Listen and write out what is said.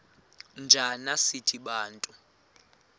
njana sithi bantu